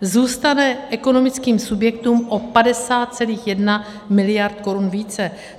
zůstane ekonomickým subjektům o 50,1 miliardy korun více.